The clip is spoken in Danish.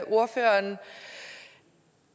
ordføreren